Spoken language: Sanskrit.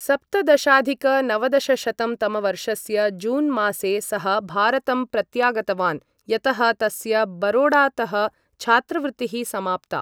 सप्तदशाधिक नवदशशतं तमवर्षस्य जून् मासे सः भारतं प्रत्यागतवान्, यतः तस्य बरोडातः छात्रवृत्तिः समाप्ता।